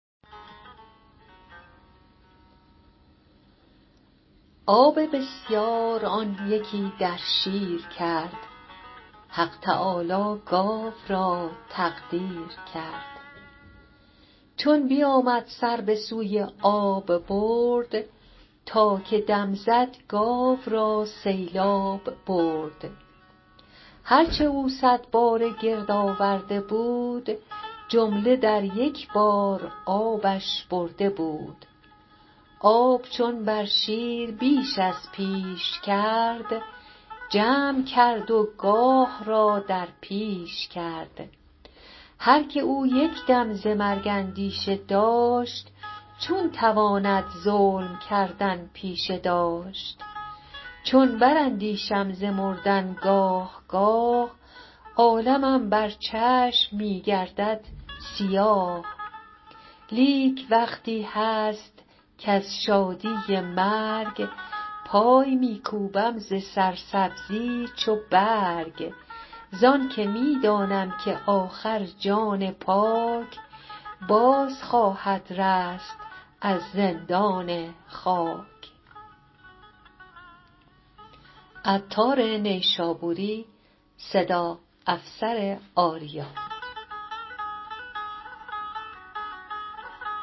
آب بسیار آن یکی در شیر کرد حق تعالی گاو را تقدیر کرد چون بیامد سر بسوی آب برد تا که دم زد گاو را سیلاب برد هرچه او صد باره گرد آورده بود جمله در یکبار آبش برده بود آب چون بر شیر بیش از پیش کرد جمع کرد و گاه را در پیش کرد هرکه او یکدم ز مرگ اندیشه داشت چون تواند ظلم کردن پیشه داشت چون براندیشم ز مردن گاه گاه عالمم بر چشم میگردد سیاه لیک وقتی هست کز شادی مرگ پای میکوبم ز سر سبزی چو برگ زانکه میدانم که آخر جان پاک باز خواهد رست از زندان خاک